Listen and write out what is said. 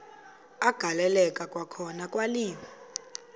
agaleleka kwakhona kwaliwa